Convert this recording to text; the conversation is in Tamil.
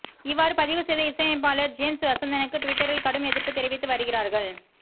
இவ்வாறு பதிவு செய்த இசையமைப்பாளர் ஜேம்ஸ் வசந்தனுக்கு ட்விட்டரில் கடும் எதிர்ப்பு தெரிவித்து வருகிறார்கள்